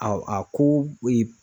Aw a ko